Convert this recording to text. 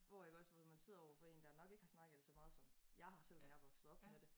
Hvor iggås men når man sidder overfor en der nok ikke har snakket så meget som jeg har selv når jeg er vokset op med det